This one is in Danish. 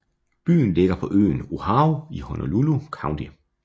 Byen ligger på øen Oahu i Honolulu County